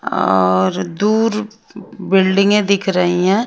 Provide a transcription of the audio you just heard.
और दूर बिल्डिंगे दिख रही हैं।